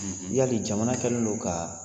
Yala jamana kɛlen don ka